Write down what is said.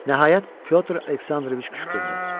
Nəhayət Pyotr Aleksandroviç qışqırdı.